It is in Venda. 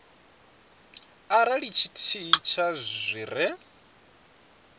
arali tshithihi tsha zwi re